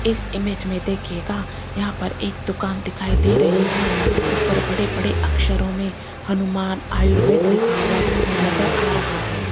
इस इमेज में देखिएगा यहां पर एक दुकान दिखाई दे रही है ऊपर बड़े बड़े अक्षरों में हनुमान आयुर्वेद लिखा हुआ नजर आ रहा है।